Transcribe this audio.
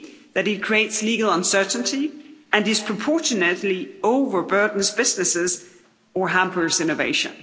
that it creates legal uncertainty and disproportionately overburdens businesses or hampers innovation.